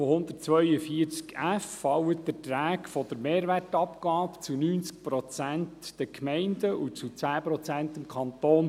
BauG fallen Beträge der Mehrwertabgabe zu 90 Prozent den Gemeinden und zu 10 Prozent dem Kanton.